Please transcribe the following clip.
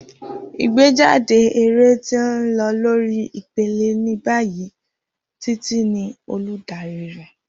Igbejade eré ti n lọ lori ipele ni bayi, Titi ni oludari rẹ.